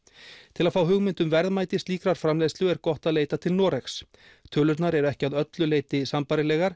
til að fá hugmynd um verðmæti slíkrar framleiðslu er gott að leita til Noregs tölurnar eru ekki að öllu leyti sambærilegar